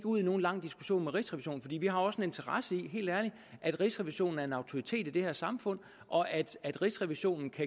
ud i nogen lang diskussion med rigsrevisionen fordi vi også har interesse i helt ærligt at rigsrevisionen er en autoritet i det her samfund og at rigsrevisionen kan